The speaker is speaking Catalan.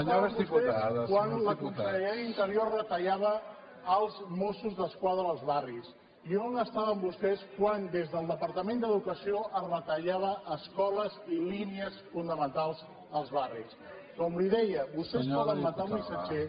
quan la consellera d’interior retallava els mossos d’es quadra als barris i on estaven vostès quan des del departament d’educació es retallaven escoles i línies fonamentals als barris com li deia vostès poden el missatger